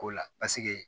Ko la